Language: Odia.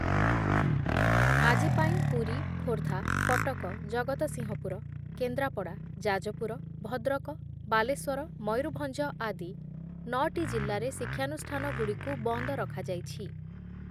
ଆଜି ପାଇଁ ପୁରୀ, ଖୋର୍ଦ୍ଧା, କଟକ, ଜଗତସିଂହପୁର, କେନ୍ଦ୍ରାପଡ଼ା, ଯାଜପୁର, ଭଦ୍ରକ, ବାଲେଶ୍ଵର, ମୟୂରଭଞ୍ଜ ଆଦି ନଅଟି ଜିଲ୍ଲାରେ ଶିକ୍ଷାନୁଷ୍ଠାନଗୁଡ଼ିକୁ ବନ୍ଦ ରଖାଯାଇଛି ।